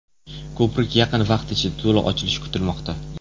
Ko‘prik yaqin vaqt ichida to‘liq ochilishi kutilmoqda.